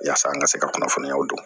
Yaasa an ka se ka kunnafoniyaw don